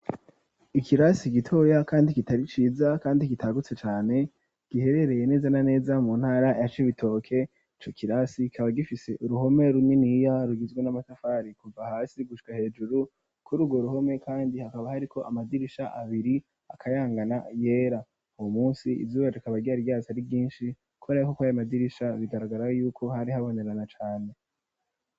ikirasi gitoya kandi kitariciza kandi kitagutse cane, giherereye neza na neza mu ntara ya cibitoke. Ico kirasi kikaba gifise uruhome runiniya rugizwe n'amatafari kuva hasi gushika hejuru, kuri urwo ruhome kandi hakaba hariko amadirisha abiri akayangana yera .Uwo munsi izuba rikaba ryari ryatse ari ryinshi ,kubera ko kuri ayo madirisha bigaragara yuko hari habonerana cane.